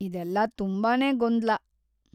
ಇದೆಲ್ಲ ತುಂಬಾನೇ ಗೊಂದಲ.